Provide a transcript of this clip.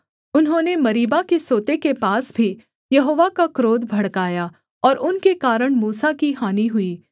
उन्होंने मरीबा के सोते के पास भी यहोवा का क्रोध भड़काया और उनके कारण मूसा की हानि हुई